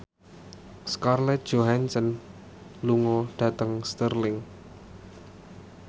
Scarlett Johansson lunga dhateng Stirling